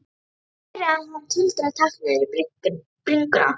Hún heyrir að hann tuldrar takk niður í bringuna.